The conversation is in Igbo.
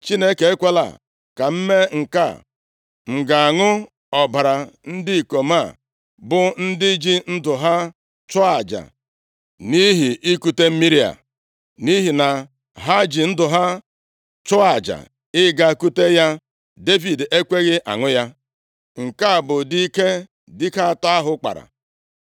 “Chineke ekwela ka m mee nke a. M ga-aṅụ ọbara ndị ikom a, bụ ndị ji ndụ ha chụọ aja nʼihi ikute mmiri a?” Nʼihi na ha ji ndụ ha chụọ aja ịga kute ya, Devid ekweghị aṅụ ya. Nke a bụ ụdị ike dike atọ ahụ kpara.